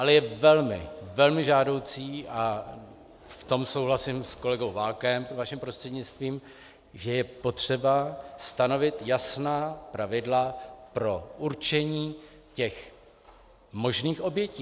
Ale je velmi, velmi žádoucí, a v tom souhlasím s kolegou Válkem vaším prostřednictvím, že je potřeba stanovit jasná pravidla pro určení těch možných obětí.